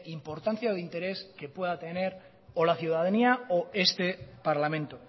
importancia o de interés que pueda tener o la ciudadanía o este parlamento